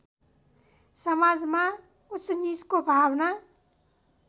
समाजमा उचनिचको भावना